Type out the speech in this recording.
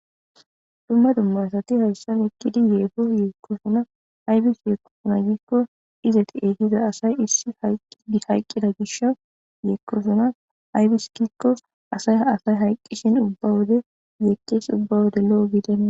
dumma dummaasati hayssan ekkidi yeefo yeekkosona aybis yeekkosona giikko izeti eehiza asay issi hayqqida gish yeekkosona aybiskikko asay asay hayqqishin ubba wode yeeqqees ubba wode lo7o gidena